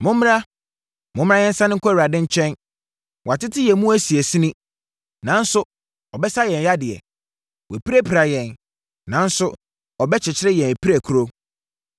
“Mommra, momma yɛnsane nkɔ Awurade nkyɛn. Wɔatete yɛn mu asinasini nanso ɔbɛsa yɛn yadeɛ. Wapirapira yɛn nanso ɔbɛkyekyere yɛn apirakuro.